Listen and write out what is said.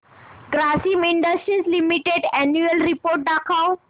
Grasim industries limited annual report दाखव